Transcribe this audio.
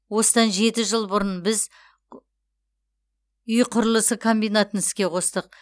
осыдан жеті жыл бұрын біз үй құрылысы комбинатын іске қостық